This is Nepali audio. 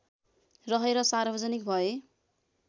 रहेर सार्वजनिक भए